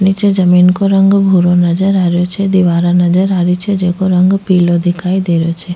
निचे जमीं को रंग भूरो नजर आ रो छे दिवारा नजर आ रही छे जेको रंग पिलो दिखाई दे रो छे।